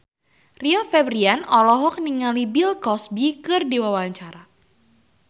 Rio Febrian olohok ningali Bill Cosby keur diwawancara